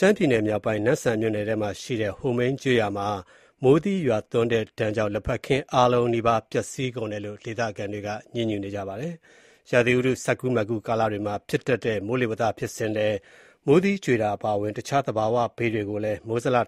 ရှမ်းပြည်နယ်မြောက်ပိုင်း၊ နမ့်ဆန်မြို့နယ်မှာရှိတဲ့ ဟိုမိန်းကျေးရွာမှာ မိုးသီးရွာသွန်းတဲ့ဒဏ်ကြောင့် လက်ဖက်ခင်းအားလုံးနီးပါး ပျက်စီးကုန်တယ်လို့ ဒေသခံတွေက ပြောပါတယ်။ ရာသီဥတု စပ်ကူးမပ်ကူး ကာလတွေမှာ ဖြစ်တတ်တဲ့ မိုးလေဝသဖြစ်စဉ်ထဲ မိုးသီးကြွေတာ အပါအဝင် တခြား သဘာဝဘေးတွေကို မိုးဇလက